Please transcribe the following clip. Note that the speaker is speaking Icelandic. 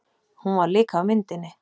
Hún var líka á myndinni.